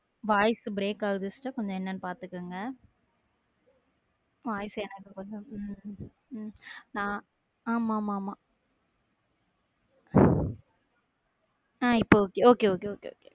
Voice break ஆகுது sister கொஞ்சம் என்னன்னு பார்த்துக்கோங்க voice எனக்கு கொஞ்சம் நா உம் ஆமா ஆமா ஆஹ் இப்போ okay okay okay